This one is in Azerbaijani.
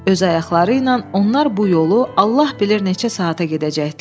Öz ayaqları ilə onlar bu yolu Allah bilir neçə saata gedəcəkdilər.